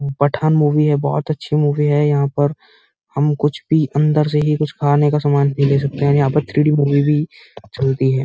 Pathan movie है बहोत अच्छी मूवी है। यहाँ पर हम कुछ पीअंदर से ही कुछ खाने का सामान भी ले सकते हैं। यहाँ पर थ्री डी पर मूवी चलती है।